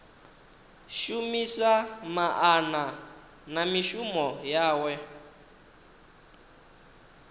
shumisa maana na mishumo yawe